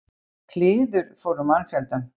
Kliður fór um mannfjöldann.